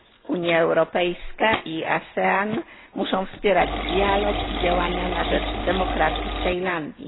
Unia Europejska i ASEAN muszą wspierać dialog i działania na rzecz demokracji w Tajlandii.